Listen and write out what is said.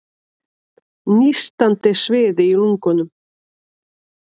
Nístandi sviði í lungunum.